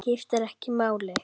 Skiptir ekki máli.